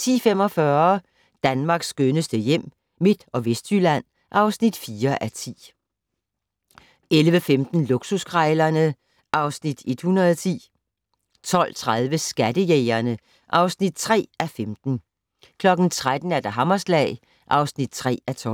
10:45: Danmarks skønneste hjem - Midt- og Vestjylland (4:10) 11:15: Luksuskrejlerne (Afs. 110) 12:30: Skattejægerne (3:15) 13:00: Hammerslag (3:12)